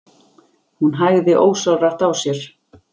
Hún hægði ósjálfrátt á sér.